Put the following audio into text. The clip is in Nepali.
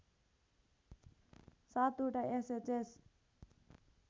७ ओटा एसएचएस